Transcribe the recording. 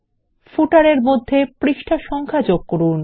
পাদলেখ এ মধ্যে পৃষ্ঠা সংখ্যা যোগ করুন